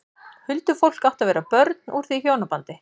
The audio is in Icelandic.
Huldufólk átti að vera börn úr því hjónabandi.